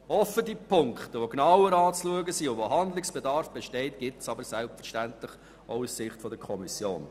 Auch aus Sicht der Kommission gibt es Punkte, die genauer zu betrachten sind und bei welchen Handlungsbedarf besteht.